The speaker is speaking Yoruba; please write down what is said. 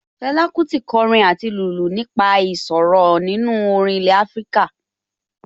Fẹlá Kútì kọrin àti lùlù nípa ìṣòro nínú orin ilẹ̀ Afíríkà